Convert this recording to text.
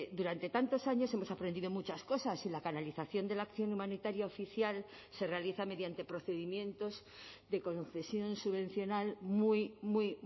durante tantos años hemos aprendido muchas cosas y la canalización de la acción humanitaria oficial se realiza mediante procedimientos de concesión subvencional muy muy